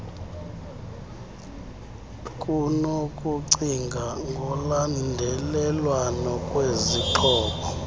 kunokucinga ngolandelelwano lwezixhobo